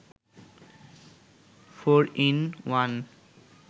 four in one